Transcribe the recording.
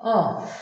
Ɔ